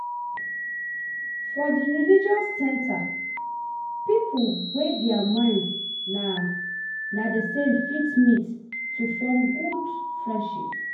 For di religious centers pipo wey their mind na na di same fit meet to forn good friendship